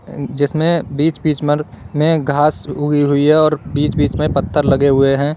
जिसमें बीच बीच में घास उगी हुई है और बीच बीच में पत्थर लगे हुए हैं।